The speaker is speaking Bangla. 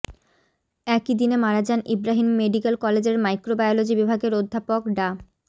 একই দিনে মারা যান ইব্রাহিম মেডিকেল কলেজের মাইক্রোবায়োলজি বিভাগের অধ্যাপক ডা